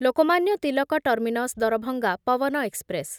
Lokmanya Tilak terminus Darbhanga Pawan express